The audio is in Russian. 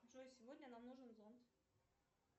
джой сегодня нам нужен зонт